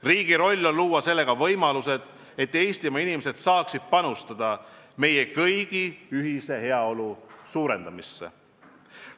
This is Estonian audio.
Riigi roll on luua võimalused, et Eestimaa inimesed saaksid panustada meie kõigi ühise heaolu suurendamisse.